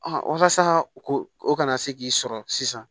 walasa ko o kana se k'i sɔrɔ sisan